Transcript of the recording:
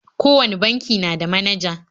Kowane banki na da manaja.